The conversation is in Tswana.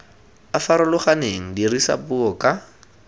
a farologaneng dirisa puo ka